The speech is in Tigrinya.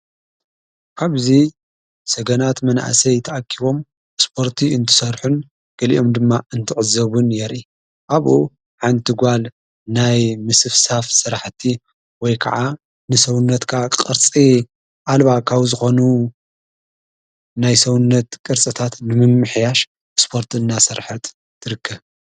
ካብዙይ ሰገናት መናእሰይ ተኣኪቦም ስጶርቲ እንትሰርሑን ገሊኦም ድማ እንትዕዘቡን የርኢ ኣብኡ ሓንቲ ጓል ናይ ምስፍሳፍ ሠራሕቲ ወይ ከዓ ንሠውነትካ ቕርፂ ኣልባካዊ ዝኾኑ ናይ ሰውነት ቅርጽታት ንምምሕያሽ ስጶርት እናሠርሐርት ትርክብ።